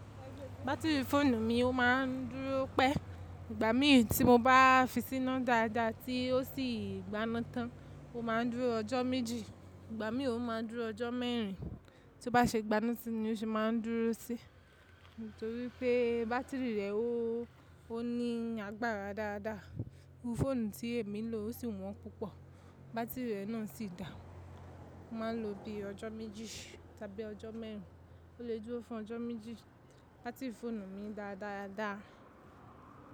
Batiri fóònù mi ó ma ń dúró pẹ́. Ìgbà mí tí mo bá fi síná dáadáa tí ó sì gbaná tán ó máa ń dúró ọjọ́ méjì, ìgbà mì ó máa ń dúró ọjọ́ mẹ́rin. Tí ó bá se gbaná síi ni o se máa ń dúró síi. Nítorí pé bátìrì rẹ̀ ó ní agbára dáadáa. Irú fóònù tí èmi ń lò ó sì wọ́n púpọ̀. Bátìrì rẹ̀ náà sì da. Mo máa ń lo bí i ọjọ́ méjì tàbí ọjọ́ mẹ́rin. Ó lè dúró fún ọjọ́ méjì bátìrì fóònù mi dáadáa.